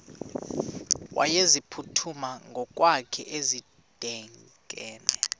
wayeziphuthume ngokwakhe edikeni